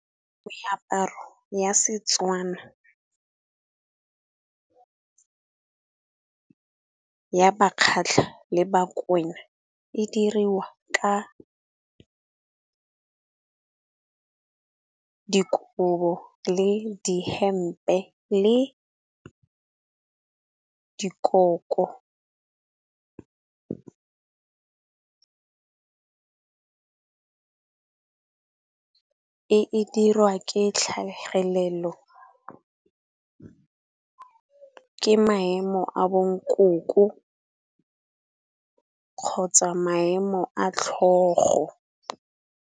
Meaparo ya Setswana, ya Bakgatla le Bakwena e diriwa ka dikobo, le dihempe le dikolo. E dirwa ke tlhagelelo ke maemo a bo nkoko kgotsa maemo a tlhogo.